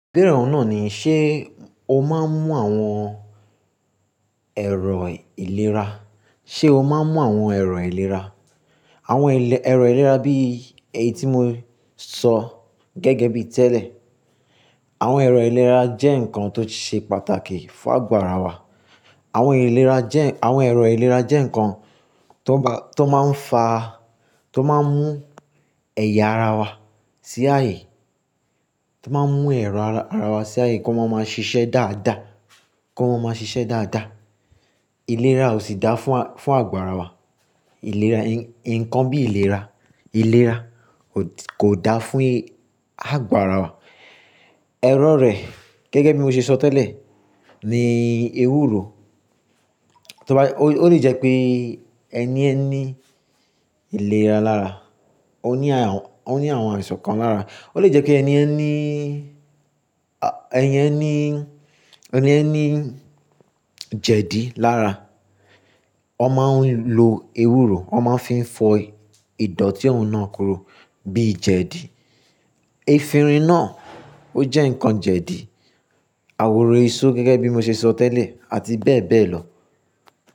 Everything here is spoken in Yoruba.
Bẹ́ẹ̀rẹ̀ ọ̀un na ni, ṣe o máa ń mú àwọn ẹ̀rọ ìlera? Ṣe o máa ń mú àwọn ẹ̀rọ ìlera? Àwọn ẹlẹ- ẹ̀rọ ìlera bí eyi tí mo sọ gẹ́gẹ́ bí tẹ́lẹ̀. Àwọn ẹ̀rọ ìlera jẹ́ nǹkan tó ṣe pàtàkì fún àgbàrá wa. Àwọn ìlera jẹ́, àwọn ẹ̀rọ ìlera jẹ́ nǹkan tó bá, tó máa ń fa, tó máa ń mú ẹ̀yà ara wa sí ààyè, tó máa ń mú ẹ̀rọ ara, ara wa sí ààyè kí wọ́n máa ṣiṣẹ́ dáadáa, kí wọ́n máa ṣiṣẹ́ dáadáa. Ìlera ò sì dáa fún a, fún àgo wa. Ìlera, nǹkan bí ìlera, ìlera kò dáa fún àgbàrá wa. Ẹ̀rọ rẹ̀ gẹ́gẹ́ bí mo ṣe sọ tẹ́lẹ̀ ni ewúro. Tí o bá, ó lè jẹ́ pé ẹni ẹ ní ìlera lára, ó ní àwọn, ó ní àwọn àìsàn kan lára. Ó lè jẹ́ pé ẹni ẹ ní, ẹni ẹ ẹ ní, ẹni ẹ ní jẹ̀dí lára. Wọ́n máa ń lo ewúro, wọ́n máa ń fi fọ ìdọ̀tí ọ̀ún náà koru bí i jẹ̀dí. Efinrin náà ó jẹ́ nǹkan jẹ̀dí. Àworo èso gẹ́gẹ́ bí mo ṣe sọ tẹ́lẹ̀ àti bẹ́ẹ̀ bẹ́ẹ̀ lọ.